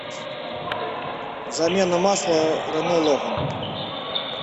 замена масла рено логан